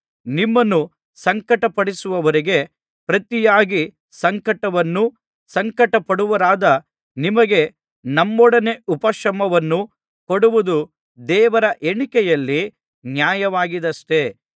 ನಿಮ್ಮನ್ನು ಸಂಕಟಪಡಿಸುವವರಿಗೆ ಪ್ರತಿಯಾಗಿ ಸಂಕಟವನ್ನೂ ಸಂಕಟಪಡುವವರಾದ ನಿಮಗೆ ನಮ್ಮೊಡನೆ ಉಪಶಮನವನ್ನೂ ಕೊಡುವುದು ದೇವರ ಎಣಿಕೆಯಲ್ಲಿ ನ್ಯಾಯವಾಗಿದೆಯಷ್ಟೆ